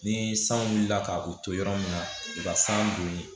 Ni san wulila ka u to yɔrɔ min na u ka san don